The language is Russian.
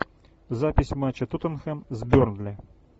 запись матча тоттенхэм с бернли